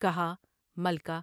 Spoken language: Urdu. کہا '' ملکہ!